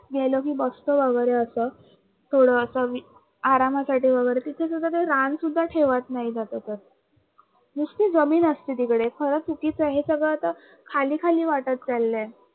गेलो कि बघतो वगरे आपण आरामासाठी तिथे सुद्धा ते रान सुद्धा ठेवत नाहीत आता तर ते नुसत जमीन असते तिकडे खरच चुकीच आहे हे सगळं आत अखाली खाली वाटत चाललय